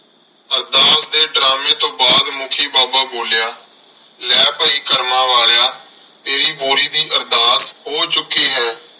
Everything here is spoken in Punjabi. ਅਰਦਾਸ ਦੇ ਡਰਾਮੇ ਤੋਂ ਬਾਅਦ ਮੁੱਖੀ ਬਾਬਾ ਬੋਲਿਆ ਲੈ ਭਾਈ ਕਰਮਾਂ ਵਾਲਿਆ ਤੇਰੀ ਬੋਰੀ ਦੀ ਅਰਦਾਸ ਹੋ ਚੁੱਕੀ ਹੈ।